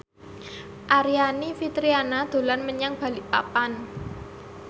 Aryani Fitriana dolan menyang Balikpapan